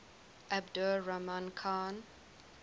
abdur rahman khan